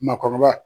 Maakɔrɔba